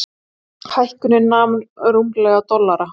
Hækkunin nam rúmlega dollara.